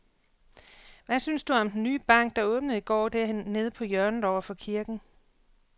Hvad synes du om den nye bank, der åbnede i går dernede på hjørnet over for kirken?